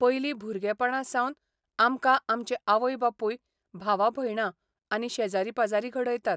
पयलीं भुरगेपणासावन आमकां आमचे आवय बापूय भावा भयणां आनी शेजारी पाजारी घडयतात.